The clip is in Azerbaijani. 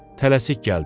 Tələsik gəldim.